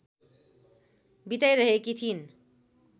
बिताइरहेकी थिइन्।